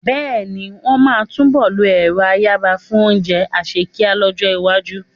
Bẹ́ẹ̀ ni, wọ́n máa túnbọ̀ lo ẹ̀rọ́ ayanran fún oúnjẹ àsèkíá lọ́jọ́-iwájú.